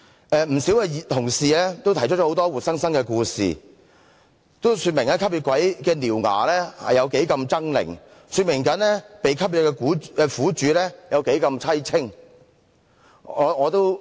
不少同事也提出很多活生生的故事，說明"吸血鬼"的獠牙如何猙獰，說明被"吸血"的苦主多麼淒清。